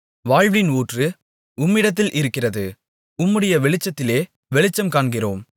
வாழ்வின் ஊற்று உம்மிடத்தில் இருக்கிறது உம்முடைய வெளிச்சத்திலே வெளிச்சம் காண்கிறோம்